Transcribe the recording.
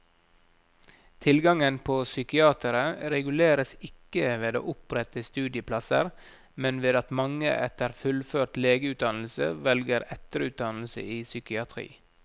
Tilgangen på psykiatere reguleres ikke ved å opprette studieplasser, men ved at mange etter fullført legeutdannelse velger etterutdannelse i psykiatri.